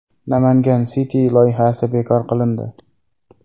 Namangan City loyihasi bekor qilindi.